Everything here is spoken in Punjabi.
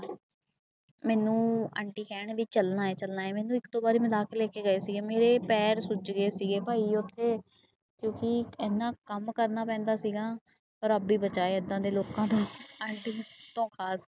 ਮੈਨੂੰ ਆਂਟੀ ਕਹਿਣ ਵੀ ਚੱਲਣਾ ਹੈ ਚੱਲਣਾ ਹੈ ਮੈਨੂੰ ਇੱਕ ਦੋ ਵਾਰੀ ਮਨਾ ਕੇ ਲੈ ਕੇ ਗਏ ਸੀਗੇ, ਮੇਰੇ ਪੈਰ ਸੁੱਜ ਗਏ ਸੀਗੇ ਭਾਈ ਉੱਥੇ ਕਿਉਂਕਿ ਇੰਨਾ ਕੰਮ ਕਰਨਾ ਪੈਂਦਾ ਸੀਗਾ ਰੱਬ ਹੀ ਬਚਾਏ ਏਦਾਂ ਦੇ ਲੋਕਾਂ ਤੋਂ ਆਂਟੀ